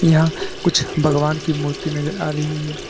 यहां कुछ भगवान की मूर्ति नजर आ रही है।